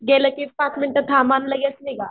गेलं कि पाच मिनिट थांबा आणि लगेच निघा.